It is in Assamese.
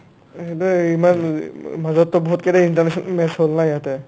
এইবাৰ ইমান মাজতটো বহুত কেৰে international match হ'ল না ইয়াতে